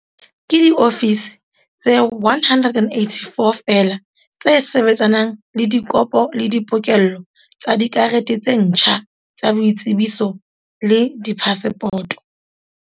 Ke diofisi tse 184 feela tse sebetsanang le dikopo le di pokello tsa dikarete tse ntjha tsa boitsebiso le diphasepoto.